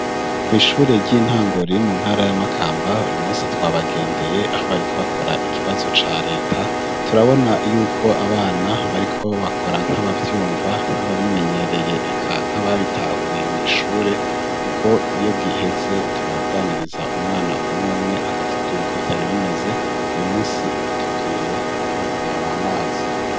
Kw' ishure ry'intango riri mu ntara ya Makamba, uyu munsi twabagendeye aho bariko bakora ikibazo ca Leta turabona yuko abana bariko bakora nk'abavyumva nk'ababimenyereye eka nk'ababitahuye mw' ishure ,kuko iyo giheze turaganiriza umwana umw'umwe akatubwira uko vyari bimeze, uyu munsi batubwiye ko vyar' amazi.